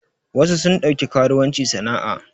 Wasu sun ɗauki karuwanci sana a